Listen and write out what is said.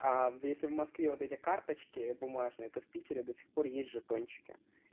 а если в москве вот эти карточки бумажные то в питере до сих пор есть жетончики